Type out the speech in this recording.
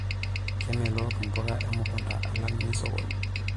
Kemelok mpuka emukunta alang' nesokoni.